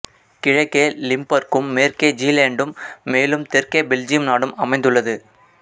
கிழக்கே லிம்பர்க்கும் மேற்கே ஜீலேண்டும் மேலும் தெற்கே பெல்ஜியம் நாடும் அமைந்துள்ளது